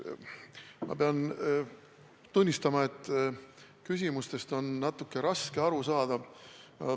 Ma pean tunnistama, et küsimustest on natuke raske aru saada.